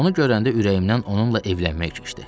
Onu görəndə ürəyimdən onunla evlənmək keçdi.